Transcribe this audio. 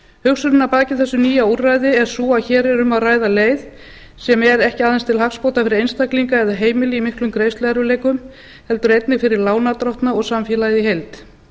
hugsunin að baki þessu nýja úrræði er sú að hér er um að ræða leið sem er ekki aðeins til hagsbóta fyrir einstaklinga eða heimili í miklum greiðsluerfiðleikum heldur einnig fyrir lánardrottna og samfélagið í heild